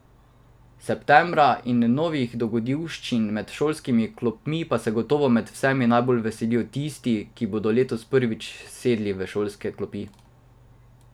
Septembra in novih dogodivščin med šolskimi klopmi pa se gotovo med vsemi najbolj veselijo tisti, ki bodo letos prvič sedli v šolske klopi.